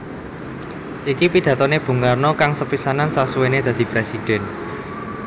Iki pidatoné Bung Karno kang sepisanan sasuwéné dadi Présidèn